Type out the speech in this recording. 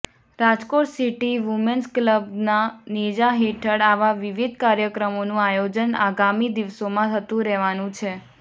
Rajkot city women's કલબના નેજા હેઠળ આવા વિવિધ કાર્યક્રમોનું આયોજન આગામી દિવસોમાં થતુ રહેવાનું છે